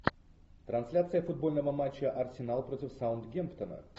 трансляция футбольного матча арсенал против саутгемптона